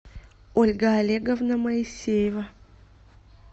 ольга олеговна моисеева